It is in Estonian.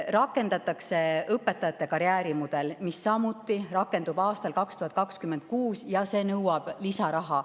Rakendub õpetajate karjäärimudel, see toimub samuti aastal 2026 ja nõuab lisaraha.